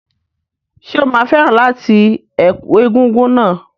Ṣé o máa fẹ́ràn láti ẹ̀kú egúngún náà?